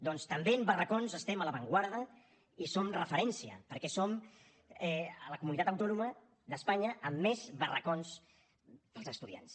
doncs també en barracons estem a l’avantguarda i en som referència perquè som la comunitat autònoma d’espanya amb més barracons per als estudiants